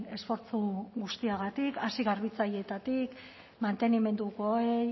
esfortzu guztiagatik hasi garbitzaileetatik mantenimendukoei